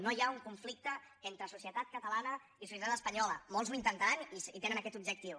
no hi ha un conflicte entre societat catalana i societat espanyola molts ho intentaran i tenen aquest objectiu